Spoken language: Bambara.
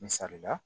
Misali la